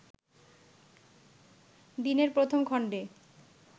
দিনের প্রথম খণ্ডে